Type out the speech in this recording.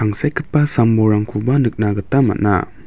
tangsekgipa sambolrangkoba nikna gita man·a.